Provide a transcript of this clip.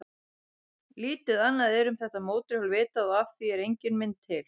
Lítið annað er um þetta mótorhjól vitað og af því er engin mynd til.